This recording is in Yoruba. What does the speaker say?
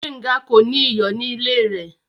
Gbẹnga kò ní iyọ̀ ní ilẹ̀ rẹ.